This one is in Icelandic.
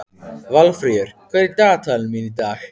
Valfríður, hvað er í dagatalinu mínu í dag?